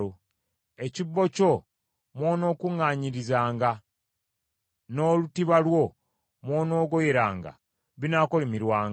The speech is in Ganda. Ekibbo kyo mw’onookuŋŋaanyirizanga n’olutiba lwo mw’onoogoyeranga binaakolimirwanga.